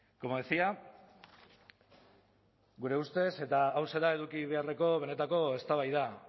como decía gure ustez eta hauxe da eduki beharreko benetako eztabaida